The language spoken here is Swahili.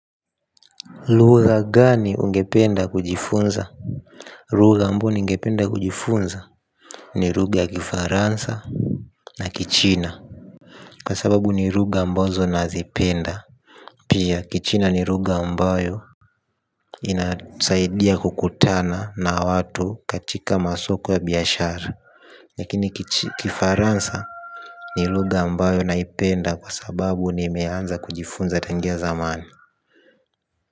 Ruga gani ungependa kujifunza. Ruga ambao ningependa kujifunza ni ruga kifaransa. Na kichina kwa sababu ni ruga ambazo nazipenda. Pia kichina ni ruga ambayo inasaidia kukutana na watu katika masoko ya biyashara. Lakini kifaransa ni ruga ambayo naipenda kwa sababu ni imeanza kujifunza tangia zamani.